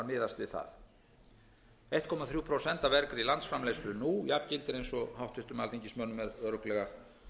miðast við það eitt komma þrjú prósent af vergri landsframleiðslu nú jafngildir nú eins og háttvirtum alþingismönnum er örugglega